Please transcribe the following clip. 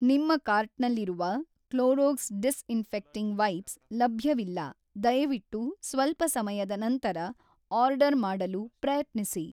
ನಿಮ್ಮ ಕಾರ್ಟ್‌ನಲ್ಲಿರುವ Clorox disinfecting wipes ಲಭ್ಯವಿಲ್ಲ ದಯವಿಟ್ಟು ಸ್ವಲ್ಪ ಸಮಯದ ನಂತರ ಆರ್ಡರ್ ಮಾಡಲು ಪ್ರಯತ್ನಿಸಿ